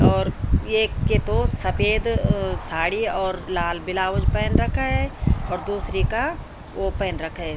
और एक के तो सपेद अ-अ साड़ी और लाल बिलाउज पैन रखा है और दूसरी का वो पहन रखा है।